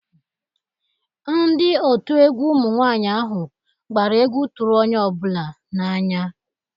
Ndi otu egwu ụmụ nwanyị ahụ gbara egwu tụrụ onye ọ bụla na-anya